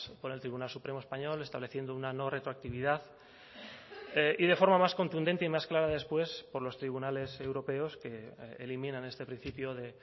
por el tribunal supremo español estableciendo una no retroactividad y de forma más contundente y más clara después por los tribunales europeos que eliminan este principio de